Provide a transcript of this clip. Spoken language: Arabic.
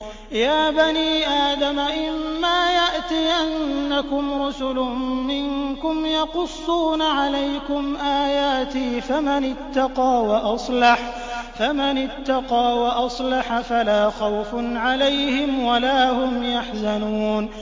يَا بَنِي آدَمَ إِمَّا يَأْتِيَنَّكُمْ رُسُلٌ مِّنكُمْ يَقُصُّونَ عَلَيْكُمْ آيَاتِي ۙ فَمَنِ اتَّقَىٰ وَأَصْلَحَ فَلَا خَوْفٌ عَلَيْهِمْ وَلَا هُمْ يَحْزَنُونَ